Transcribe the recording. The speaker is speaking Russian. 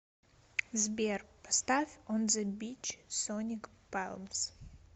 сбер поставь он зе бич соник палмс